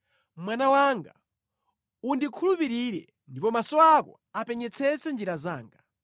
Mwana wanga, undikhulupirire ndipo maso ako apenyetsetse njira zanga.